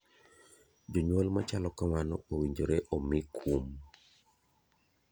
Jonyuol machalo kamano owinjore omi kuom.